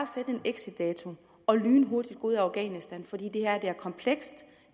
sætte en exitdato og lynhurtigt gå ud af afghanistan for det her er komplekst